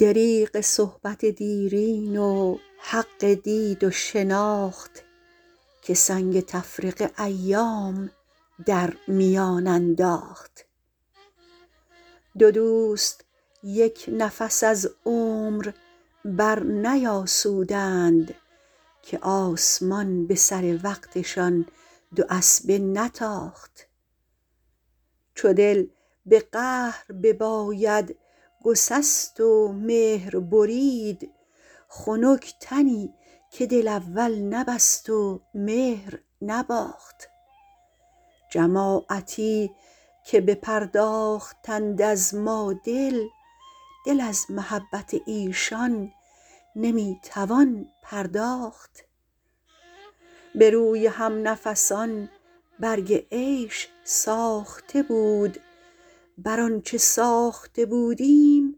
دریغ صحبت دیرین و حق دید و شناخت که سنگ تفرقه ایام در میان انداخت دو دوست یک نفس از عمر برنیاسودند که آسمان به سر وقتشان دو اسبه نتاخت چو دل به قهر بباید گسست و مهر برید خنک تنی که دل اول نبست و مهر نباخت جماعتی که بپرداختند از ما دل دل از محبت ایشان نمی توان پرداخت به روی همنفسان برگ عیش ساخته بود بر آنچه ساخته بودیم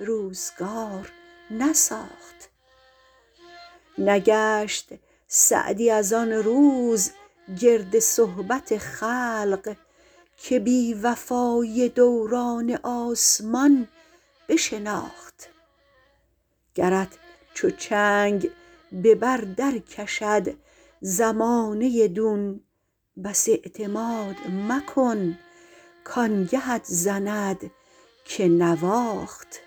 روزگار نساخت نگشت سعدی از آن روز گرد صحبت خلق که بی وفایی دوران آسمان بشناخت گرت چو چنگ به بر در کشد زمانه دون بس اعتماد مکن کآنگهت زند که نواخت